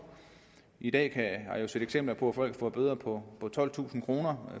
i dag har jeg set eksempler på at folk får bøder på tolvtusind kroner